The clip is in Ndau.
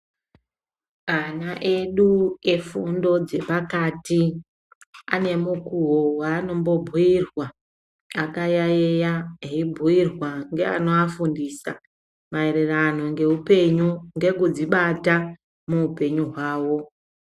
Ana edu efundo dzepakati ane mukuwo waanombobhiirwa akayaiya. Eibhuirwa ngeanoafundisa maererano ngeupenyu, ngekudzibata muupenyu hwawo.